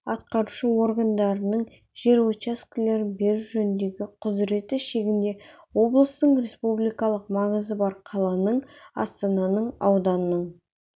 атқарушы органдарының жер учаскелерін беру жөніндегі құзыреті шегінде облыстың республикалық маңызы бар қаланың астананың ауданның